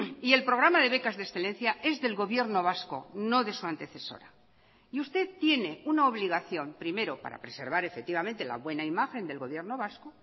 y el programa de becas de excelencia es del gobierno vasco no de su antecesora y usted tiene una obligación primero para preservar efectivamente la buena imagen del gobierno vasco